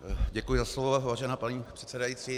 Děkuji za slovo, vážená paní předsedající.